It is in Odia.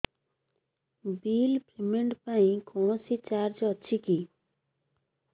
ବିଲ୍ ପେମେଣ୍ଟ ପାଇଁ କୌଣସି ଚାର୍ଜ ଅଛି କି